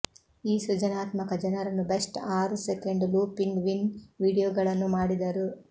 ಈ ಸೃಜನಾತ್ಮಕ ಜನರನ್ನು ಬೆಸ್ಟ್ ಆರು ಸೆಕೆಂಡ್ ಲೂಪಿಂಗ್ ವಿನ್ ವೀಡಿಯೋಗಳನ್ನು ಮಾಡಿದರು